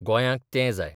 गोंयांक ते जाय.